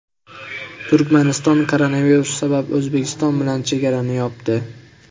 Turkmaniston koronavirus sabab O‘zbekiston bilan chegarani yopdi.